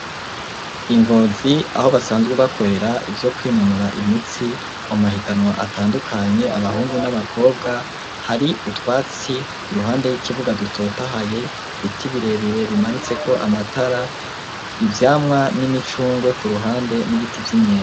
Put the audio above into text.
INgozi aho basanzwe bakorera ivyo kwinonora imitsi ,mu mahiganwa atandukanye abahungu n'abakobwa, hari utwatsi iruhande y'ikibuga dutotahaye, ibiti birebere bimanitseko amatara, ivyamwa n'imicungwe ku ruhande n'ibiti vy'imyembe.